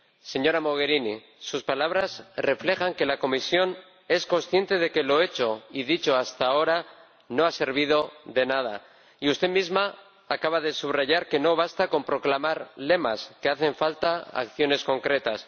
Señora Mogherini, sus palabras reflejan que la Comisión es consciente de que lo hecho y dicho hasta ahora no ha servido de nada, y usted misma acaba de subrayar que no basta con proclamar lemas, que hacen falta acciones concretas.